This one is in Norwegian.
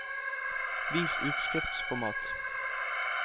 Vis utskriftsformat